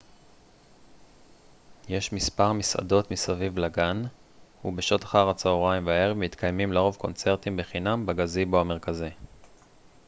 יש מספר מסעדות מסביב לגן ובשעות אחר הצהריים והערב מתקיימים לרוב קונצרטים בחינם בגזיבו המרכזי